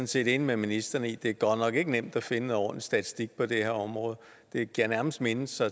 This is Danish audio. set enig med ministeren i at det godt nok ikke er nemt at finde noget ordentlig statistik på det her område det giver nærmest mindelser